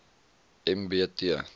m b t